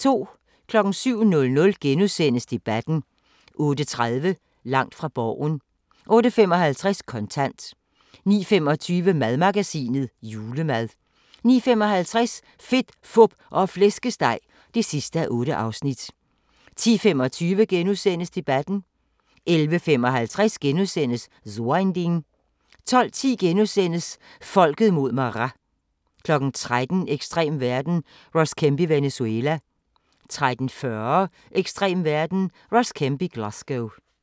07:00: Debatten * 08:30: Langt fra Borgen 08:55: Kontant 09:25: Madmagasinet: Julemad 09:55: Fedt, Fup og Flæskesteg (8:8) 10:25: Debatten * 11:55: So ein Ding * 12:10: Folket mod Maras * 13:00: Ekstrem verden – Ross Kemp i Venezuela 13:40: Ekstrem verden - Ross Kemp i Glasgow